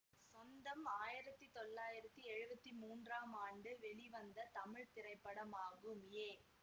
சொந்தம் ஆயிரத்தி தொள்ளாயிரத்தி எழுவத்தி மூன்றாம் ஆண்டு வெளிவந்த தமிழ் திரைப்படமாகும் ஏ